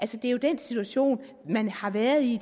det er jo den situation man har været i